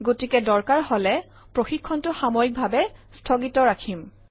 গতিকে দৰকাৰ হলে প্ৰশিক্ষণটো সাময়িকভাৱে স্থগিত ৰাখিম